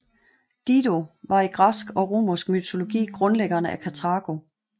Dido var i græsk og romersk mytologi grundlæggeren af Karthago